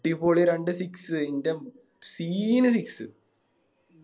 ഈ പൊളി രണ്ട് Six എൻ്റെ Scene six